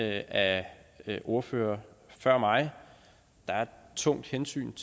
af ordførere før mig der er et tungt hensyn